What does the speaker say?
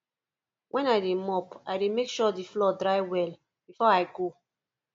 wen i dey mop i dey make sure the floor dry well before i go